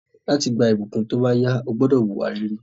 Láti gba ìbùkún tóbáyá, o gbúdọ̀ wùwà rere